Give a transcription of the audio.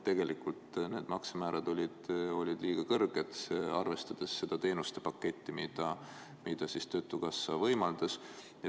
Arvestades seda teenustepaketti, mida töötukassa võimaldas, olid tegelikult need maksemäärad liiga kõrged.